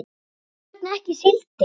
Hvers vegna ekki síldin?